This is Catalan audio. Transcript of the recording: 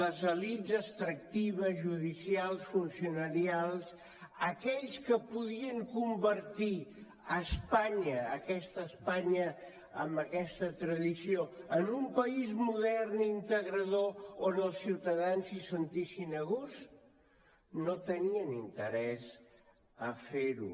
les elits extractives judicials funcionarials aquells que podien convertir espanya aquesta espanya amb aquesta tradició en un país modern integrador on els ciutadans s’hi sentissin a gust no tenien interès a fer ho